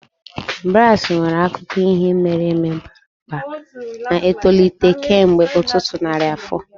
Brass nwere akụkọ ihe mere eme bara ụba, na-etolite kemgbe ọtụtụ narị afọ